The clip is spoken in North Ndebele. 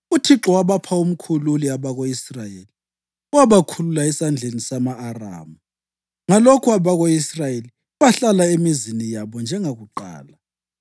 UThixo wabapha umkhululi abako-Israyeli owabakhulula esandleni sama-Aramu. Ngalokho abako-Israyeli bahlala emizini yabo njengakuqala.